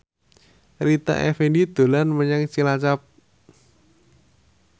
Rita Effendy dolan menyang Cilacap